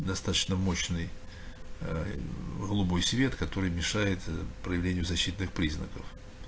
достаточно мощный ээ голубой свет который мешает проявлению защитных признаков